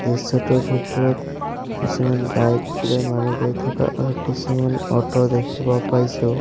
দৃশ্যটোৰ ভিতৰত কিছুমান বাইক লৈ মানুহ গৈ থকা আৰু কিছুমান অ'ট দেখিব পাইছোঁ।